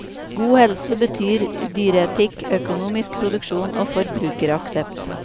God helse betyr dyreetikk, økonomisk produksjon og forbrukeraksept.